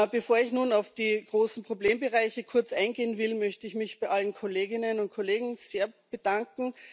Bevor ich nun auf die großen Problembereiche kurz eingehen will, möchte ich mich bei allen Kolleginnen und Kollegen sehr bedanken.